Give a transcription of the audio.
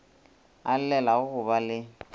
a llelago go ba le